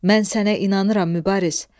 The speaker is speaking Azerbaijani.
Mən sənə inanıram Mübariz.